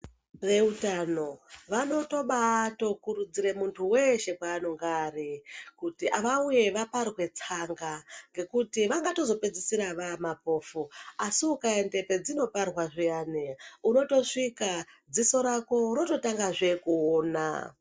Veutano vanotobatokurudzire muntu weshe kwaanonga ari kuti vauye vaparwe tsanga, ngekuti vangatozopedzisira vaa mapofu. Asi ukaende pedzinoparwa zviyani, unotosvika dziso rako rototangazve kuona.